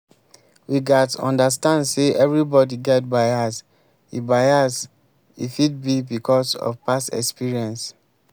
we gats understand sey everybody get bias e bias e fit be because of past experience